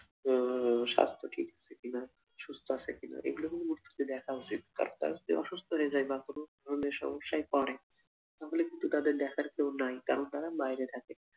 উম স্বাস্থ্য ঠিক আছে কি না, সুস্থ আছে কি না, এগুলো কিন্তু দেখা উচিৎ তার যে অসুস্থ্য হয়ে যায় বা কোনো ধরণের সমস্যায় পড়ে তাহলে কিন্তু তাদের দেখার কেউ নাই কারণ তারা বাইরে থাকে।